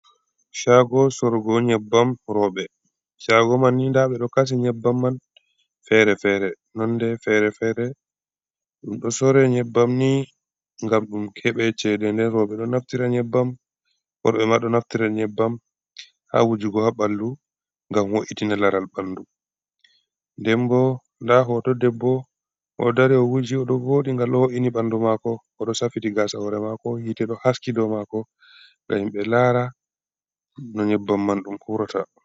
Caago sorugo nyebbam rowɓe, caago man ni, ndaa ɓe ɗo kaci nyebbam man fere-fere, nonde fere-fere. Ɗum ɗo sore nyebbam ni, ngam ɗum keɓe ceede, nden rowɓe ɗo naftira nyebbam, worɓe ma ɗo naftira nyebbam, haa wujugo haa ɓanndu, ngam wo’itina laral ɓanndu. Nden bo ndaa hooto debbo, ɗo dari o wuji, o ɗo vooɗi, ngal o wo’ini ɓanndu maako. O ɗo safiti gaasa hoore maako, yiite ɗo haski dow maako, ngam himɓe laara, no nyebbam man ɗum uurata.